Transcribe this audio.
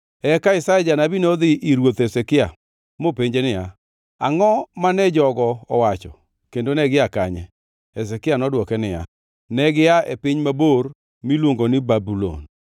Eka Isaya janabi nodhi ir Ruoth Hezekia mopenje niya, “Angʼo mane jogo owacho kendo negia kanye?” Hezekia nodwoke niya, “Negia e piny mabor, miluongo ni Babulon.”